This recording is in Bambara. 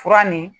Fura nin